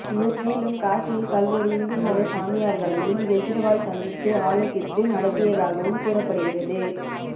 மேலும் காசியில் பல்வேறு ஹிந்து மத சாமியார்களையும் கேஜ்ரிவால் சந்தித்து ஆலோசித்து நடத்தியதாகவும் கூறப்படுகிறது